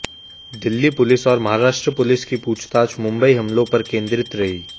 Delhi police और Maharashtra police की पूछताछ मुंबई हमलों पर केंद्रित रहीं